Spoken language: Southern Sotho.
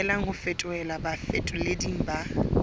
lokelang ho fetolelwa bafetoleding ba